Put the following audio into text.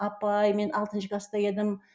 апай мен алтыншы класта едім